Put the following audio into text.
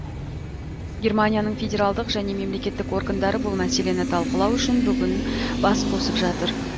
германияның федералдық және мемлекеттік органдары бұл мәселені талқылау үшін бүгін бас қосып жатыр